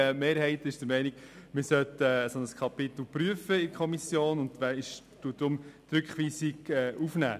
Die Mehrheit ist der Ansicht, man sollte ein solches Kapitel prüfen, und deshalb nimmt sie die Rückweisung auf.